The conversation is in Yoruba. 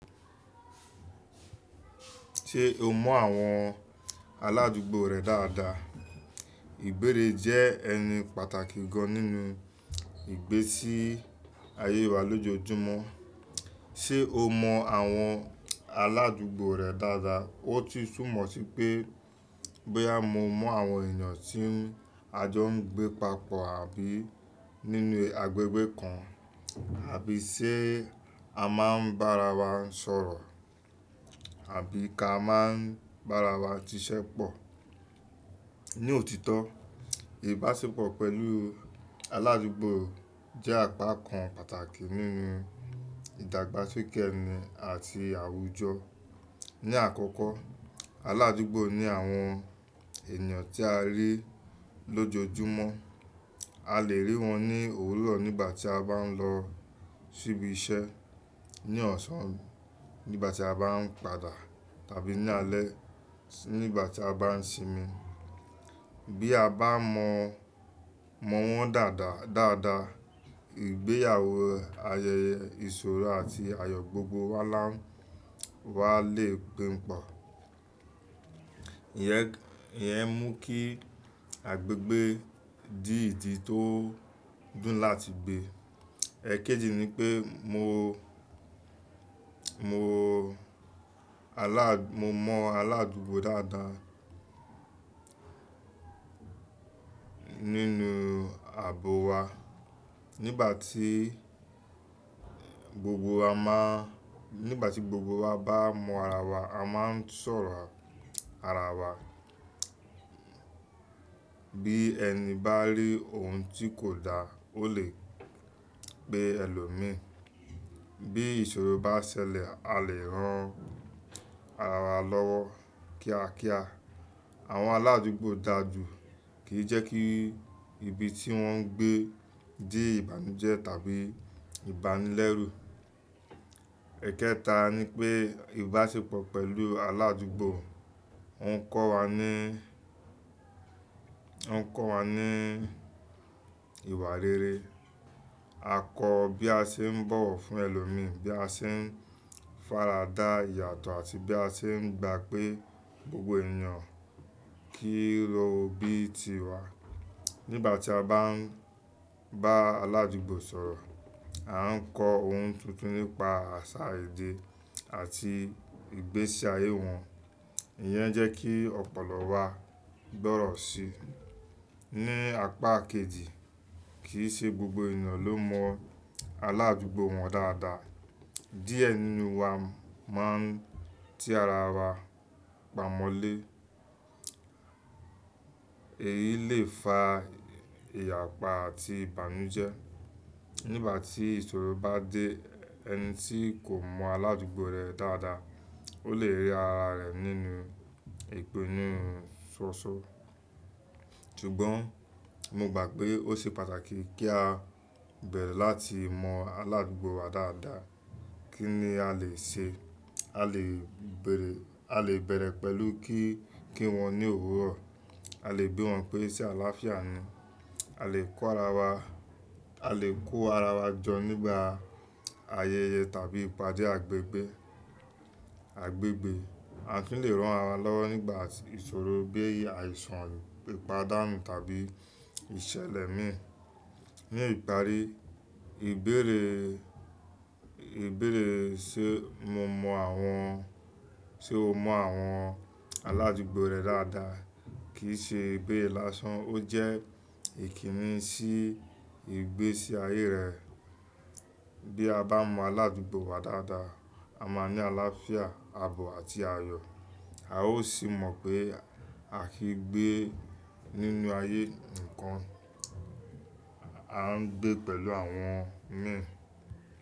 Ṣe o mọ àwọn aládùúgbò rẹ dáadáa? Ìbéèrè jẹ́ ẹni pàtàkì gan nínú ìgbésí ayé wa lójoojúmọ́. Ṣe o mọ àwọn aládùúgbò rẹ dáadáa? Ó ti sún mọ sí pé, bóyá mo mọ àwọn ènìyàn tí a jọ ń gbé papọ̀ àbí nínú agbègbè kan, àbí ṣe a máa ń bá ara wa sọ̀rọ̀, àbí ka máa ń bá ara wa ṣiṣẹ́ pọ̀. Ní òtítọ́, ìbáṣepọ̀ pẹ̀lú aládùúgbò jẹ́ àpá kan pàtàkì nínú ìdàgbàsókè ẹni àti àwùjọ. Ní àkọ́kọ́, aládùúgbò ni àwọn ènìyàn tí a rí lójoojúmọ́. A lè rí wọn ní òwúrọ̀ nígbà tí a bá ń lọ síbi iṣẹ́, ní ọ̀sán nígbà tí a bá ń padà, tàbí ní alẹ́ nígbà tí a bá ń sinmi. Bí a bá mọ wọ́n dáadáa, ìgbéyàwó, ayẹyẹ, ìṣòro àti ayọ̀ gbogbo wá lè pín pọ̀. Iyẹn mú kí agbègbè di ìdí tó dùn láti gbé. Ẹ̀kéjì ni pé mo, mo mọ aládùúgbò dáadáa nínú ààbò wa. Nígbà tí gbogbo wa bá mọ ara wa, a máa ń sọ̀rọ̀ ara wa. Bí ẹni bá rí ohun tí kò dáa, ó lè pe ẹlòmíì. Bí ìṣòro bá ṣẹlẹ̀, a lè ran ara wa lọ́wọ́ kíákíá. Àwọn aládùúgbò dáàjú kì í jẹ́ kí ibi tí wọ́n ń gbé di ìbànújẹ́ tàbí ìbánilẹ́rú. Ẹ̀kẹta ni pé ìbáṣepọ̀ pẹ̀lú aládùúgbò ń kọ́ wa ní ìwà rere. A kọ́ bí a ṣe ń bọ̀wọ̀ fún ẹlòmíì, bí a ṣe ń fara dà ìyàtọ̀ àti bí a ṣe ń gba pé gbogbo ènìyàn kì í ro bíi ti wa. Nígbà tí a bá ń bá aládùúgbò sọ̀rọ̀, a ń kọ́ ohun tuntun nípa àṣà èdè àti ìgbésí ayé wọn. Iyẹn jẹ́ kí ọ̀pọ̀lọ wa gbọ́rọ̀ sí i. Ní àpá kéjì, kì í ṣe gbogbo ènìyàn ló mọ aládùúgbò wọn dáadáa. Diẹ nínú wa máa ń ti ara wa pamọ́ lé. Èyí lè fa ìyàpá àti ìbànújẹ́. Nígbà tí ìṣòro bá dé, ẹni tí kò mọ aládùúgbò rẹ dáadáa ó lè rí ara rẹ̀ nínú ìpinnu ṣoṣo. Ṣùgbọ́n mo gbà pé ó ṣe pàtàkì kí a bẹ̀rẹ̀ láti mọ aládùúgbò wa dáadáa. Kí ni a lè ṣe? A lè bẹ̀rẹ̀ pẹ̀lú kí kí wọn ní òwúrọ̀, a lè bí wọn pé ṣe àlàáfíà ni, a lè kó ara wa jọ nígbà ayẹyẹ tàbí ìpàdé àgbègbè. A kì í lè rán ara wa lọ́wọ́ nígbà ìṣòro bí i àìsàn ìpadánù tàbí ìṣẹ̀lẹ̀ mìíràn. Ní ìparí, ìbéèrè, ìbéèrè ṣe mo mọ àwọn, ṣe o mọ àwọn aládùúgbò rẹ dáadáa kì í ṣe ìbéèrè lásán, ó jẹ́ ìkíni sí ìgbésí ayé rẹ. Bí a bá mọ aládùúgbò wa dáadáa, a máa ní àlàáfíà, ààbò àti ayọ̀. A ó sì mọ̀ pé a kì í gbé nínú ayé ǹikan, a ń gbé pẹ̀lú àwọn míì.